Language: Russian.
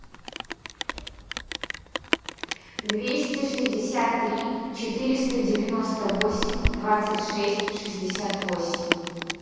двести шестьдесят три четыреста девяносто восемь двадцать шесть шестьдесят восемь